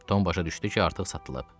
Tom başa düşdü ki, artıq satılıb.